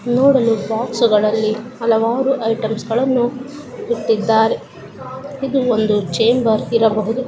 ನೋಡಲು ಬಾಕ್ಸುಗಳಲ್ಲಿ ಹಲವಾರು ಐಟೆಮ್ಸಗಳನ್ನೂ ಇಟ್ಟಿದ್ದಾರೆ ಹಾಗು ಇದು ಒಂದು ಚೇಮ್ಭರ್ ಇರಬಹುದು.